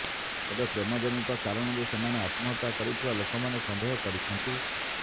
ତେବେ ପ୍ରେମ ଜନିତ କାରଣରୁ ସେମାନେ ଆତ୍ମହତ୍ୟା କରିଥିବା ଲୋକମାନେ ସନ୍ଦେହ କରିଛନ୍ତି